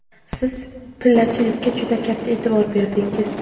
Siz pillachilikka juda katta e’tibor berdingiz.